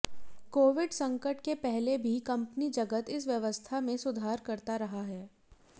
Covid संकट के पहले भी कंपनी जगत इस व्यवस्था में सुधार करता रहा है